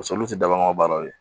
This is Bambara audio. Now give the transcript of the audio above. olu tɛ daba baaraw ye